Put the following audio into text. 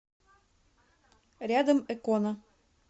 рядом экона